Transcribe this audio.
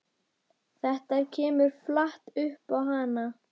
Þetta kemur flatt upp á hann.